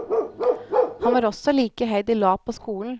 Han var også like iherdig lat på skolen.